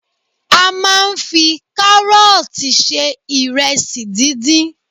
A máa ń fi kárọ́ọ̀tì se ìrẹsì díndín.